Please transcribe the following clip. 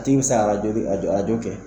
Dimi fusayara dɔɔnin a don a don kɛ